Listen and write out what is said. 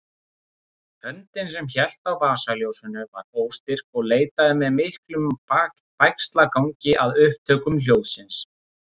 Höndin sem hélt á vasaljósinu var óstyrk og leitaði með miklum bægslagangi að upptökum hljóðsins.